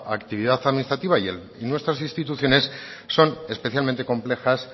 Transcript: actividad administrativa y nuestras instituciones son especialmente complejas